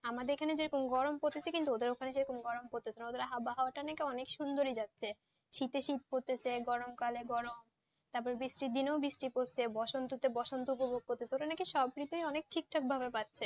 আমাদের এখানে যেমন গরম পড়তেছে কিন্তু ওদের এখানে কিন্তু গরম পড়তেছে না ওদের আবহাওয়া অনেক সুন্দর যাচ্ছে শীত এর শীত পড়তেছে গরম কালে গরম তাপরে বৃষ্টি দিনে বৃষ্টি পড়তেছে বসন্ত কালে বসন্ত উপভগ করতেছে মানে কি সব ঋতু অনেক ঠিক থাকে ভাবে পারছে